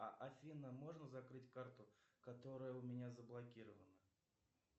афина можно закрыть карту которая у меня заблокирована